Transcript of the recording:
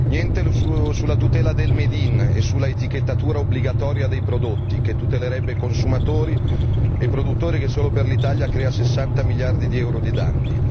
Niente sulla tutela del made in e sull'etichettatura obbligatoria dei prodotti, che tutelerebbe i consumatori e i produttori e che solo per l'Italia eviterebbe 60 miliardi di euro di danni.